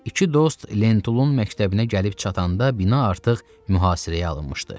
İki dost Lentulun məktəbinə gəlib çatanda bina artıq mühasirəyə alınmışdı.